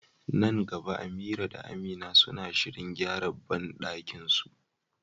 Nan gaba Amira da Amina suna shirin gyara bandakinsu.